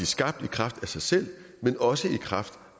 skabt i kraft af sig selv men også i kraft